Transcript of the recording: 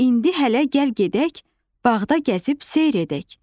İndi hələ gəl gedək, bağda gəzib seyir edək.